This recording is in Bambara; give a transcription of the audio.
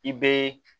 I bɛ